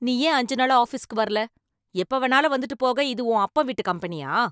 நீ ஏன் அஞ்சு நாளா ஆபீஸுக்கு வரல? எப்ப வேணாலும் வந்துட்டு போக இது என்ன உன் அப்பன் வீட்டு கம்பெனியா?